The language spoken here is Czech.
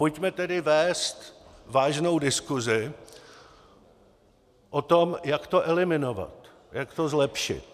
Pojďme tedy vést vážnou diskusi o tom, jak to eliminovat, jak to zlepšit.